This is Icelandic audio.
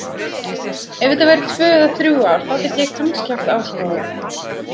Ef þetta væru tvö eða þrjú ár þá gæti ég kannski haft áhrif á þá.